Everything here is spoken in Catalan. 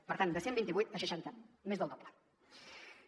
per tant de cent i vint vuit a seixanta més del doble